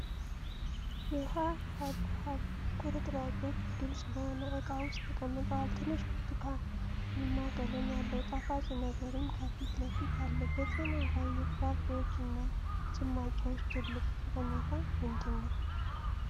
የውሃ ሐብሐብ ቁርጥራጮች ግልጽ በሆነ ዕቃ ውስጥ ተቀምጠዋል፤ ትንሽ ብርቱካንማ ቀለም ያለው ጣፋጭ ነገርም ከፊት ለፊት አለ። በጤና ላይ የፍራፍሬዎች እና ጭማቂዎች ትልቁ ጠቀሜታ ምንድን ነው?